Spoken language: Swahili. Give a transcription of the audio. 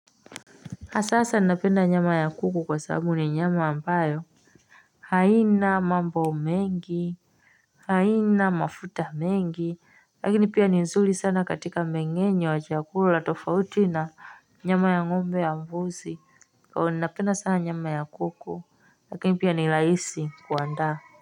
Kwa sasa anapenda nyama ya kuku kwa sababu ni nyama ambayo haina mambo mengi haina mafuta mengi lakini pia ni nzuri sana katika mengenye wa chakula la tofauti na nyama ya ngombe ya mbuzi kwa hivyo ninapenda sana nyama ya kuku lakini pia ni raisi kuanda.